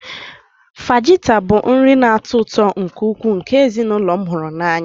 Fajita bụ nri na-atọ ụtọ nke ukwuu nke ezinụlọ m hụrụ n'anya